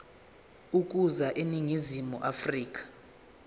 ukuza eningizimu afrika